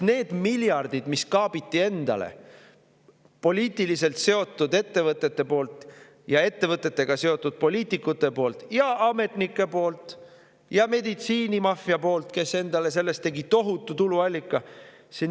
Need poliitiliselt seotud ettevõtted ja ettevõtetega seotud poliitikud, ametnikud ja meditsiinimaffia tegid sellest endale tohutu tuluallika ja kaapisid endale miljardeid.